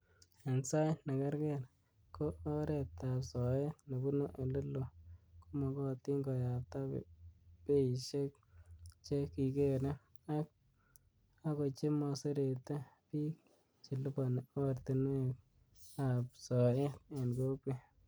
En sait nekerger, ko oretab soet nebune ele loo, komogotin koyabta beishek che kikere ak kochemoserete bik cheliponi oratinwek ab soet en kokwet.